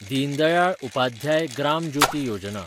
Deen Dayal Upadhyaya Gram Jyoti Yojana